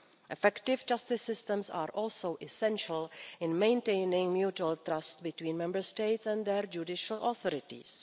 Effective justice systems are also essential in maintaining mutual trust between Member States and their judicial authorities.